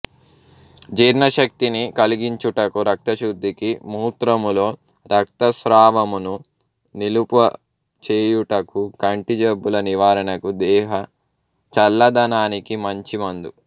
జీర్ణశక్తిని కలిగించుటకు రక్తశుద్ధికి మూత్రములో రక్తస్రావమును నిలుపు చేయుటకు కంటి జబ్బుల నివారణకు దేహ చల్లదనానికి మంచి మందు